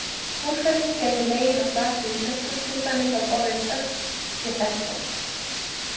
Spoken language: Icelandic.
Úrfelling gæti legið að baki í íslensku, til dæmis að orðið högg sé fellt brott.